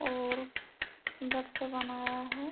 और सुन्दर से बनाया है।